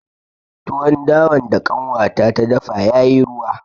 Tuwon dawan da ƙanwata ta dafa ya yi ruwa